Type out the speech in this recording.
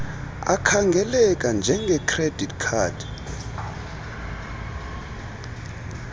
akhangeleka njengecredit card